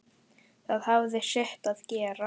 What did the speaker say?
Það hafði sitt að segja.